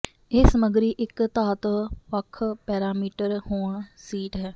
ਇਹ ਸਮੱਗਰੀ ਇੱਕ ਧਾਤ ਵੱਖ ਪੈਰਾਮੀਟਰ ਹੋਣ ਸ਼ੀਟ ਹੈ